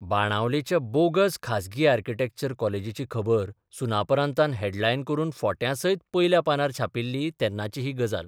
बाणावलेच्या bogus खाजगी architecture कॉलेजीची खबर सुनापरान्तान हेडलायन करून फोट्यांसयत पयल्या पानार छापिल्ली तेन्नाची ही गजाल.